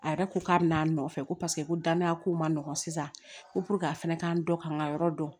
A yɛrɛ ko k'a bɛna a nɔfɛ ko paseke ko dannaya ko man nɔgɔn sisan ko a fɛnɛ k'an dɔ ka n ka yɔrɔ dɔn